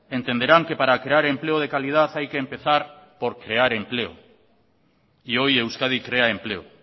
entenderán que para crear empleo de calidad hay que empezar por crear empleo y hoy euskadi crea empleo